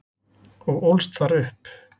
og ólst þar upp.